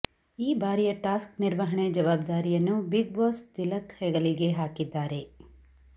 ಈ ಬಾರಿಯ ಟಾಸ್ಕ್ ನಿರ್ವಹಣೆ ಜವಾಬ್ದಾರಿಯನ್ನು ಬಿಗ್ ಬಾಸ್ ತಿಲಕ್ ಹೆಗಲಿಗೆ ಹಾಕಿದ್ದಾರೆ